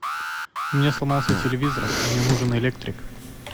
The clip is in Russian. у меня сломался телевизор мне нужен электрик